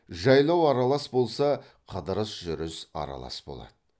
жайлау аралас болса қыдырыс жүріс аралас болады